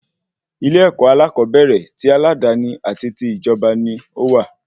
Ilé-èkó alakobere ti aladani àti ti ijọba ní owà